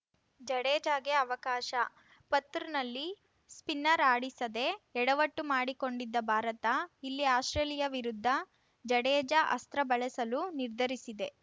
ಜಡೇಜಾಗೆ ಅವಕಾಶ ಪತ್‌ರ್‍ನಲ್ಲಿ ಸ್ಪಿನ್ನರ್‌ ಆಡಿಸದೆ ಎಡವಟ್ಟು ಮಾಡಿಕೊಂಡಿದ್ದ ಭಾರತ ಇಲ್ಲಿ ಆಸ್ಪ್ರೇಲಿಯಾ ವಿರುದ್ಧ ಜಡೇಜಾ ಅಸ್ತ್ರ ಬಳಸಲು ನಿರ್ಧರಿಸಿದೆ